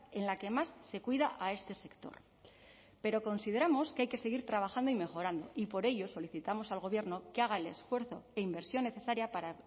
en la que más se cuida a este sector pero consideramos que hay que seguir trabajando y mejorando y por ello solicitamos al gobierno que haga el esfuerzo e inversión necesaria para